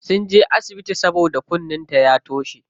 Sunje asibiti saboda kunnen ta ya toshe.